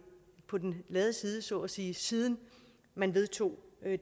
på den lade side så at sige siden man vedtog